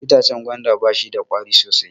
Itacen gwanda ba shida ƙwari sosai